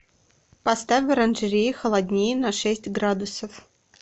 поставь в оранжерее холоднее на шесть градусов